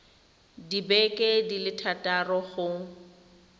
dibeke di le thataro go